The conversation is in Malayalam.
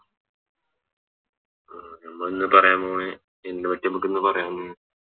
അഹ് നമ്മ ഇന്ന് പറയാൻ പോണെ എന്ത്നെ പറ്റിയ നമ്മക്കിന്ന് പറയാന്നെ